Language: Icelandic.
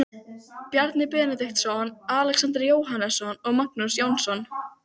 Þegar Sigmundur læknir frétti hvernig komið var skrifaði hann hreppsnefnd